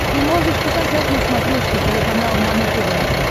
ты можешь показать на смотрешке телеканал нано тв